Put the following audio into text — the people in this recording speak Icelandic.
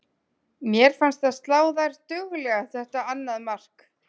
Mér fannst það slá þær duglega þetta annað mark.